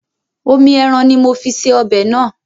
Omi ẹran ní mo fi ṣe ọbẹ̀ náà.